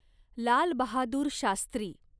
Lal Bahadur Shastri